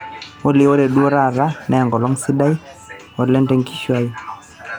olly ore duo taata na enkolong sidai olente nkishui aai